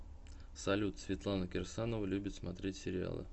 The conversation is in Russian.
салют светлана кирсанова любит смотреть сериалы